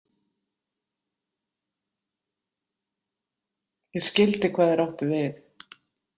Ég skyldi hvað þeir áttu við.